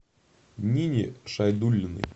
нине шайдуллиной